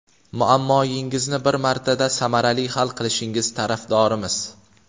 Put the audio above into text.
Muammoyingizni bir martada samarali hal qilishingiz tarafdorimiz!